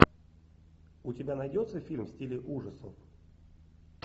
у тебя найдется фильм в стиле ужасов